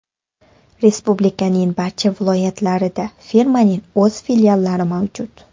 Respublikaning barcha viloyatlarida firmaning o‘z filiallari mavjud.